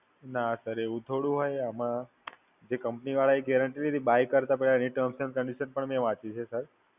ના Sir, એવું થોડું હોય આમાં? જે Company વાળા એ guarantee લીધી, બાય કરતા પહેલા એની Terms and Conditions પણ મેં વાંચી છે Sir